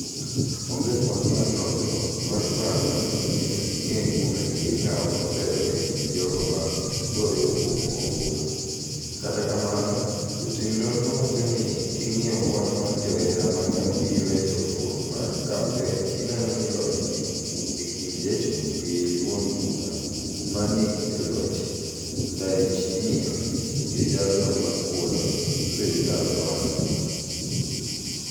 Onge kwan mar nonro mar paro manyalo miyo ing'e kuom adier ng'awa otelo e kind jogo ma goyo obulu, kata kamano jotim nonro wacho n king'iyo kwan mar joera mane obiro e chokruok mar kampen ineno ni loch ni e kind jachung' gi duond bura ma ni e loch Ndaiyshimiye gi jalno makwdo serikal Rwasa.